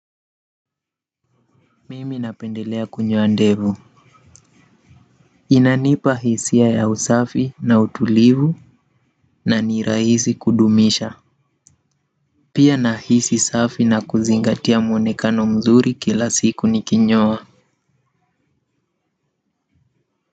Mimi napendelea kunyoa ndevu inanipa hisia ya usafi na utulivu na ni rahisi kudumisha pia nahisi safi na kuzingatia muonekano mzuri kila siku nikinyoa.